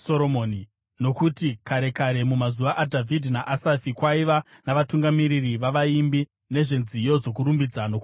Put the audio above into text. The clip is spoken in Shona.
Nokuti kare kare, mumazuva aDhavhidhi naAsafi, kwaiva navatungamiri vavaimbi nezvenziyo dzokurumbidza nokuvonga Mwari.